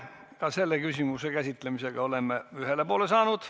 Ka selle küsimuse käsitlemisega oleme ühele poole saanud.